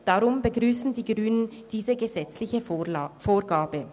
Deshalb begrüssen die Grünen diese gesetzliche Vorgabe.